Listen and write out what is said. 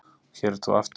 Og hér ert þú aftur.